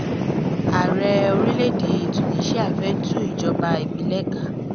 ààrẹ orílẹ̀‐èdè tùníṣíà fẹ́ tú ìjọba ìbílẹ̀ ká